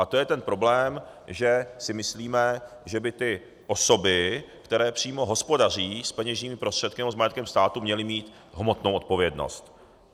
A to je ten problém, že si myslíme, že by ty osoby, které přímo hospodaří s peněžními prostředky nebo s majetkem státu, měly mít hmotnou odpovědnost.